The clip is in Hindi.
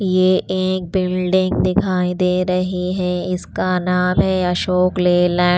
ये एक बिल्डिंग दिखाई दे रही है इसका नाम है अशोक लेला--